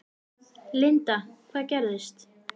Linda: Hvað gerðist?